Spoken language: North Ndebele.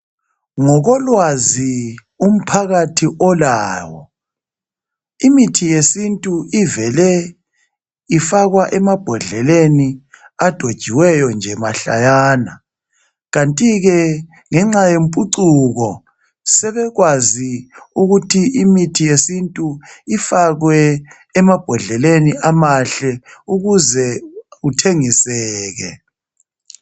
Ngokolwazi umphakathi olawo, imithi yesintu ivele ifakwa emabhodlelelni adojiweyo nje mahlayana. Kanti ke ngenxa yemphuncuko sebekwazi ukuthi mithi yesintu ifakwe emabhodleleni amahle ukuze ithengiseke.